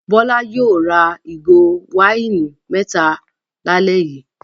Bọ́lá yóò ra ìgò wáìnì mẹ́ta lálẹ́ yìí!